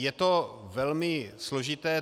Je to velmi složité.